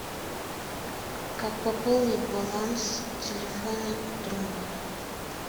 как пополнить баланс телефона друга